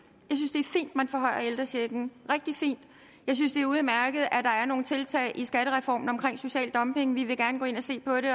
at man forhøjer ældrechecken rigtig fint jeg synes det er udmærket at der nogle tiltag i skattereformen omkring social dumping vi vil gerne gå ind og se på det